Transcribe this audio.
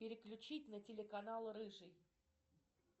переключить на телеканал рыжий